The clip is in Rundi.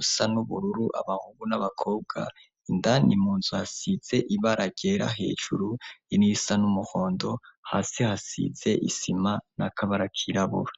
usa n'ubururu, abahungu n'abakobwa indani munzu hasitse ibara ryera hejuru irisa n'umuhondo, hasi hasize isima, n'akabara k'irabura.